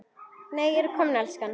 NEI, ERTU KOMIN, ELSKAN!